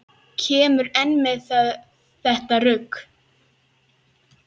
Kemurðu enn með þetta rugl!